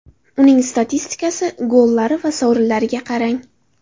Uning statistikasi, gollari va sovrinlariga qarang.